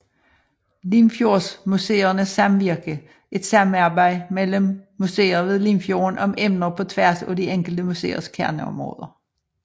Limfjordsmuseernes Samvirke er et samarbejde mellem museer ved Limfjorden om emner på tværs af de enkelte museers kerneområder